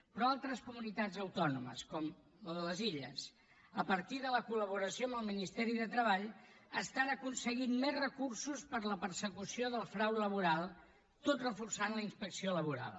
però altres comunitats autònomes com les illes a partir de la col·laboració amb el ministeri de treball aconsegueixen més recursos per a la persecució del frau laboral tot reforçant la inspecció laboral